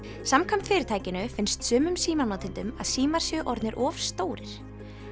samkvæmt fyrirtækinu finnst sumum að símar séu orðnir of stórir